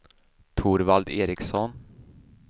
Torvald Ericson